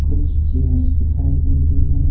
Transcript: कुछ चेयर्स दिखाई दे रही है।